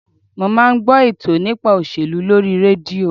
Mo máa ń gbọ́ ètò nípa òṣèlú lórí rédíò